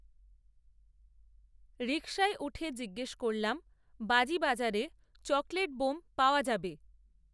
রিকশায় উঠে জিজ্ঞেস করলাম, বাজি বাজারে চকলেট বোম পাওয়া যাবে